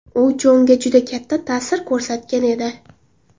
U Jonga juda katta ta’sir ko‘rsatgan edi.